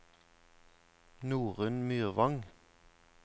Norunn Myrvang